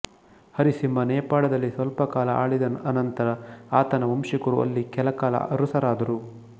ಹರಿಸಿಂಹ ನೇಪಾಳದಲ್ಲಿ ಸ್ವಲ್ಪಕಾಲ ಆಳಿದ ಅನಂತರ ಆತನ ವಂಶಿಕರು ಅಲ್ಲಿ ಕೆಲಕಾಲ ಅರಸರಾದರು